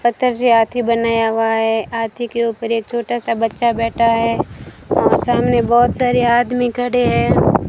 पत्थर से हाथी बनाया हुआ है हाथी के ऊपर एक छोटा सा बच्चा बैठा है और सामने बहोत सारे आदमी खड़े है।